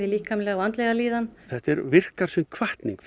líkamlega og andlega líðan þetta virkar sem hvatning